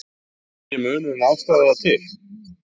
Er þetta ekki meiri munur en ástæða er til?